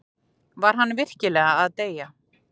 Var hann virkilega að deyja?